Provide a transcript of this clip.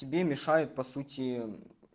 тебе мешают по сути